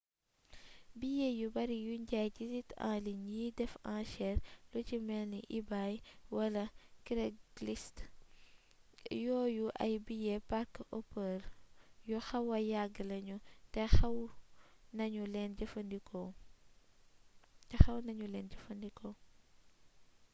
billet yu bari yuñ jaay ci site en ligne yiy def anchere lu ci melni ebay wala craigslist yooyu ay billet parc-hopper yu xawa yàgg lañu te xaw nañu leen jëfandikoo